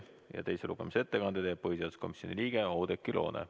Teise lugemise ettekande teeb põhiseaduskomisjoni liige Oudekki Loone.